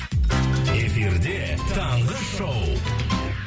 эфирде таңғы шоу